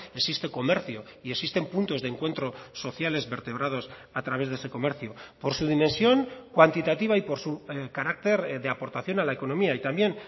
existe comercio y existen puntos de encuentro sociales vertebrados a través de ese comercio por su dimensión cuantitativa y por su carácter de aportación a la economía y también